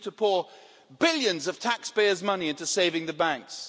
We needed to pour billions of taxpayers' money into saving the banks.